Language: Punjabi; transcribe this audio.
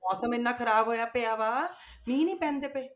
ਮੌਸਮ ਇੰਨਾ ਖ਼ਰਾਬ ਹੋਇਆ ਪਿਆ ਵਾ ਮੀਂਹ ਨੀ ਪੈਂਦੇ ਪਏ।